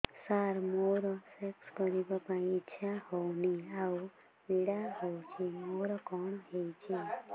ସାର ମୋର ସେକ୍ସ କରିବା ପାଇଁ ଇଚ୍ଛା ହଉନି ଆଉ ପୀଡା ହଉଚି ମୋର କଣ ହେଇଛି